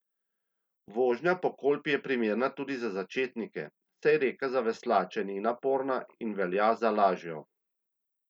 Vožnja po Kolpi je primerna tudi za začetnike, saj reka za veslače ni naporna in velja za lažjo.